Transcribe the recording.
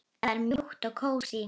Það er mjúkt og kósí.